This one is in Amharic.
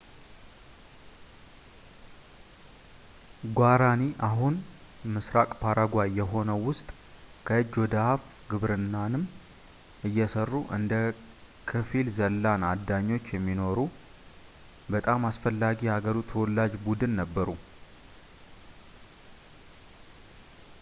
ጓራኒ አሁን ምስራቅ ፓራጓይ የሆነው ውስጥ ከእጅ ወደ አፍ ግብርናንም እየሰሩ እንደ ክፊል-ዘላን አዳኞች የሚኖሩ በጣም አስፈላጊ የሃገሩ ተወላጅ ቡድን ነበሩ